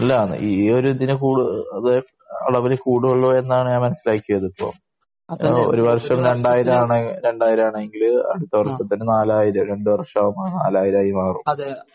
അല്ല ഈ ഒരു ഇതിന് കൂടുതല് അളവില് കൂടുള്ളു എന്നാണ് ഞാൻ മനസ്സിലാക്കിയത് ഇപ്പോ. ഒരു വർഷം രണ്ടായിരം ആണേ ആണെങ്കില് അടുത്ത വർഷത്തിന് നാലായിരം രണ്ട് വർഷം ആകുമ്പോ നാലായിരം ആയി മാറും.